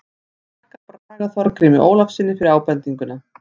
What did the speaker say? Ég þakka Braga Þorgrími Ólafssyni fyrir ábendinguna.